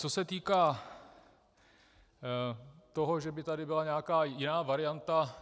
Co se týká toho, že by tady byla nějaká jiná varianta.